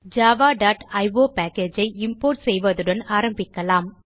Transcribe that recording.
javaஇயோ packageஐ இம்போர்ட் செய்வதுடன் ஆரம்பிக்கலாம்